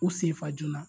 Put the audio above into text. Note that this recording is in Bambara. U sen fa joona